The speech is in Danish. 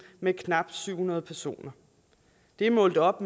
med knap syv hundrede personer det er målt op